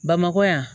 Bamakɔ yan